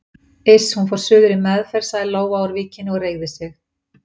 Iss, hún fór suður í meðferð sagði Lóa úr Víkinni og reigði sig.